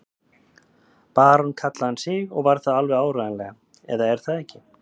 Barón kallaði hann sig og var það alveg áreiðanlega, eða er það ekki?